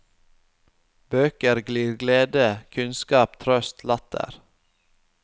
Bøker glir glede, kunnskap, trøst, latter.